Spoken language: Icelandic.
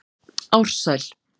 Ársæl